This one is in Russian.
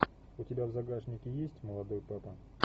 у тебя в загашнике есть молодой папа